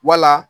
Wala